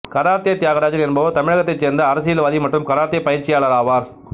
karate Thiagarajan என்பவர் தமிழகத்தைச் சேர்ந்த அரசியல்வாதி மற்றும் கராத்தே பயிற்சியாளராவார்